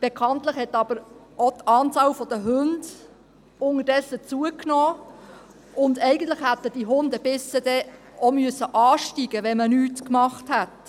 Bekanntlich hat aber die Anzahl der Hunde inzwischen zugenommen, und eigentlich hätten die Hundebisse dann auch ansteigen müssen, wenn man nichts gemacht hätte.